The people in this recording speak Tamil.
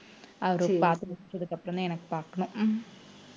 அவரு பாத்து முடிச்சதுக்கு அப்புறம்தான் எனக்கு பாக்கணும் உம்